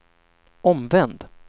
omvänd